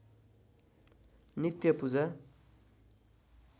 नित्य पूजा